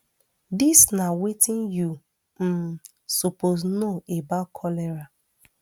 dis na wetin you um suppose know about cholera